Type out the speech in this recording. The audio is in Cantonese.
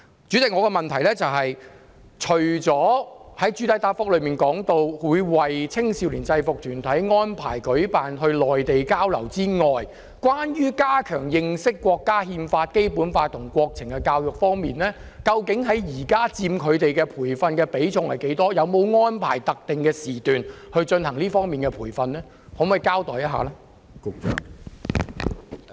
主席，我的補充質詢是，除了局長在主體答覆中表示，會為青少年制服團體安排到內地交流外，關於加強認識國家《憲法》、《基本法》和國情教育方面，究竟佔他們現在的培訓比重多少，有沒有安排特定時段進行這方面的培訓，可否請局長稍作交代？